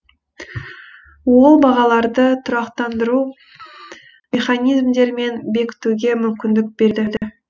ол бағаларды тұрақтандыру механизмдерін бекітуге мүмкіндік береді